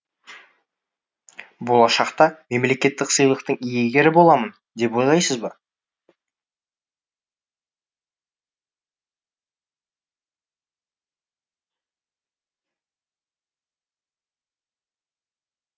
болашақта мемлекеттік сыйлықтың иегері боламын деп ойлайсыз ба